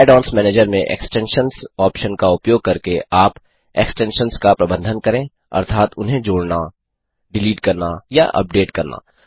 add ons manager में extensions option का उपयोग करके आप एक्सटेंशन्स का प्रबंधन करें अर्थात उन्हें जोड़ना डिलीट करना या अपडेट करना